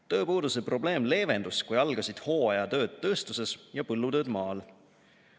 Tööpuuduse probleem leevendus, kui algasid hooajatööd tööstuses ja põllutööd maal.